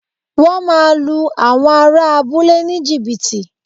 Wọ́n máa lu àwọn ará abúlé ní jìbìtì